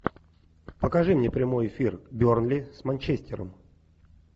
покажи мне прямой эфир бернли с манчестером